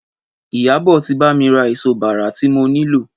Ìyábọ̀ ti bá mi ra èso bàrà tí mo nílò.